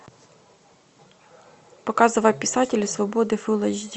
показывай писатели свободы фулл эйч ди